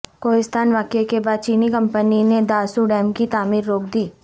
کوہستان واقعے کے بعد چینی کمپنی نے داسو ڈیم کی تعمیر روک دی